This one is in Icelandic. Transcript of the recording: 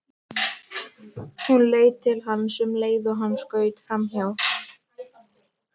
Hún leit til hans um leið og hann skaust framhjá.